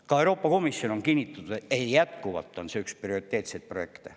Ka Euroopa Komisjon on kinnitanud, et jätkuvalt on see üks prioriteetseid projekte.